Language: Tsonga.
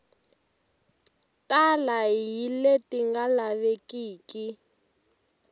tala hi leti nga lavekiki